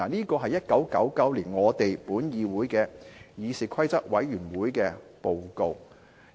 "這是1999年本議會的議事規則委員會的報告。